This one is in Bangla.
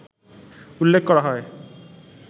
উল্লেখ করা হয়